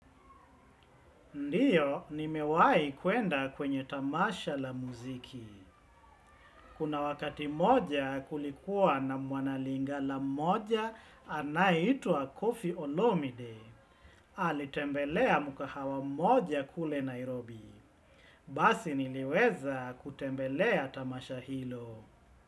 Ndiyo, nimewahi kwenda kwenye tamasha la muziki. Kuna wakati mmoja kulikuwa na mwanalingala mmoja anayeitwa Kofi Olomide. Alitembelea mkahawa mmoja kule Nairobi. Basi niliweza kutembelea tamasha hilo.